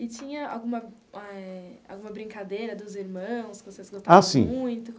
E tinha alguma eh alguma brincadeira dos irmãos que vocês gostavam muito?